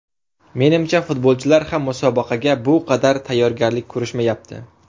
Menimcha futbolchilar ham musobaqaga bu qadar tayyorgarlik ko‘rishmayapti.